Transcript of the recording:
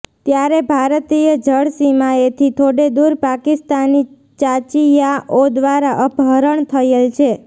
ત્યારે ભારતીય જળ સીમાએથી થોડે દૂર પાકિસ્તાની ચાચીયાઑ દ્વારા અપહરણ થયેલ છે